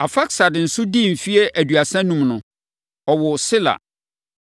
Arfaksad nso dii mfeɛ aduasa enum no, ɔwoo Sela.